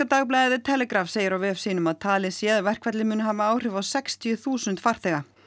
dagblaðið The Telegraph segir á vef sínum að talið sé að verkfallið muni hafa áhrif á sextíu þúsund farþega